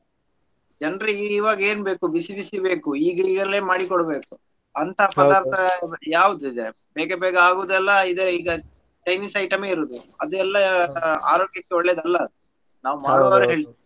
ಜನ್ರಿಗ್ ಇವಾಗೇನ್ ಬೇಕು ಬಿಸಿ ಬಿಸಿ ಬೇಕು ಈಗ್~ ಈಗಲೇ ಮಾಡಿಕೊಡ್ಬೇಕು ಅಂತ ಪದಾರ್ಥ ಯಾವ್ದಿದೆ? ಬೇಗ ಬೇಗ ಆಗುದೆಲ್ಲ ಇದೇ ಈಗ Chinese item ಏ ಇರೋದು. ಅದು ಎಲ್ಲಾ ಆರೋಗ್ಯಕ್ಕೆ ಒಳ್ಳೇದಲ್ಲ ಅದು ನಾವ್ .